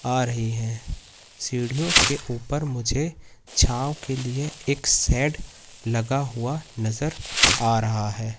आ रही है सीढ़ियों के ऊपर मुझे छांव के लिए एक सेट लगा हुआ नजर आ रहा हैं।